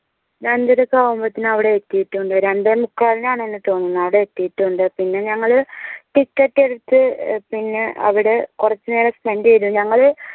രണ്ടര ഒക്കെ ആവുമ്പത്തെന് അവടെ എത്തീട്ടുണ്ട് രണ്ടേമുക്കാലിനാണെന്ന് തോന്നുന്നു അവടെ അവടെ എത്തീട്ടുണ്ട് പിന്നെ ഞങ്ങള് ticket എടുത്ത് പിന്നെ അവടെ കുറച്ച നേരം spend ചെയ്തു ഞങ്ങള്‍